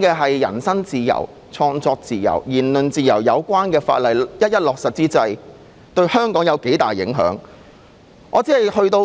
的人身自由、創作自由、言論自由有關的法例一一落實，對香港的影響有多大。